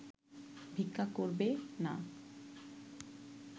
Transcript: ভিক্ষা করবে না